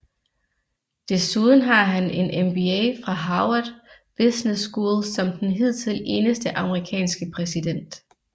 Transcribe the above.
Desuden har han en MBA fra Harvard Business School som den hidtil eneste amerikanske præsident